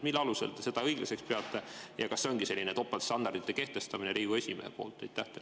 Mille alusel te seda õiglaseks peate ja kas see ongi selline topeltstandardi kehtestamine Riigikogu esimehe poolt?